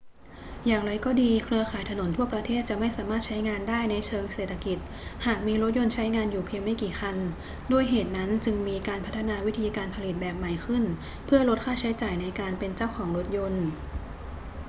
อย่างไรก็ดี เครือข่ายถนนทั่วประเทศจะไม่สามารถใช้งานได้ในเชิงเศรษฐกิจหากมีรถยนต์ใช้งานอยู่เพียงไม่กี่คัน ด้วยเหตุนั้นจึงมีการพัฒนาวิธีการผลิตแบบใหม่ขึ้นเพื่อลดค่าใช้จ่ายในการเป็นเจ้าของรถยนต์